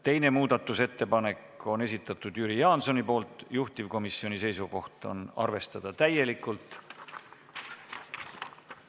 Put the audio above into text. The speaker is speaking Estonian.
Teine muudatusettepanek on Jüri Jaansoni esitatud, juhtivkomisjoni seisukoht on seda arvestada täielikult.